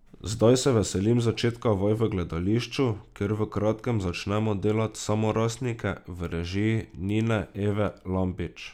Zdaj se veselim začetka vaj v gledališču, kjer v kratkem začnemo delat Samorastnike v režiji Nine Eve Lampič.